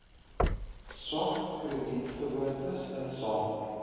swak kredietgewoontes insamel